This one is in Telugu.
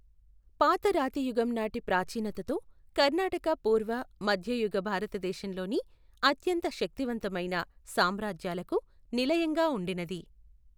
పాతరాతియుగం నాటి ప్రాచీనతతో, కర్ణాటక పూర్వ, మధ్యయుగ భారతదేశంలోని అత్యంత శక్తివంతమైన సామ్రాజ్యాలకు నిలయంగా ఉండినది.